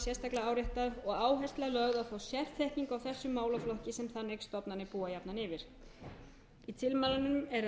sérstaklega áréttað og áhersla lögð á þá sérþekkingu á þessum málaflokki sem þannig stofnanir búa jafnan yfir í tilmælunum er að auki